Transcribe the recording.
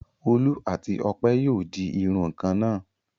Olú àti Ọpẹ́ yóò di irun kan náà.